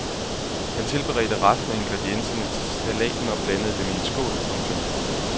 Han tilberedte resten af ingredienserne til salaten og blandede dem i en skål. punktum